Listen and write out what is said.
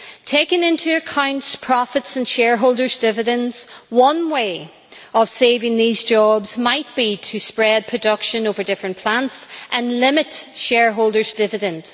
Taking into account profits and shareholders' dividends, one way of saving these jobs might be to spread production over different plants and limit shareholders' dividend.